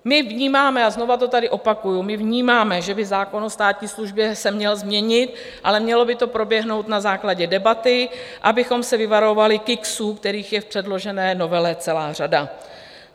My vnímáme, a znova to tady opakuji, my vnímáme, že by zákon o státní službě se měl změnit, ale mělo by to proběhnout na základě debaty, abychom se vyvarovali kiksů, kterých je v předložené novele celá řada.